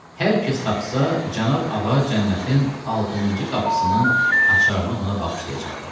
Hər kəs tapsa, cənab Ağa cənnətin 60-cı qapısının açarını ona bağışlayacaqdır.